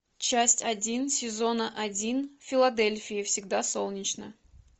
часть один сезона один в филадельфии всегда солнечно